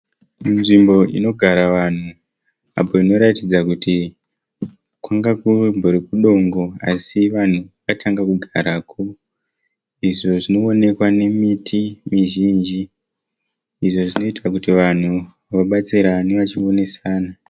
Nzvimbo inogara vanhu. Apo inoratidza kuti kwanga kumbori kudongo. Asi vanhu vakatanga kugarako. Izvo zvinoonekwa nemiti mizhinji izvo zvinoita kuti vabatsirane vachionerana.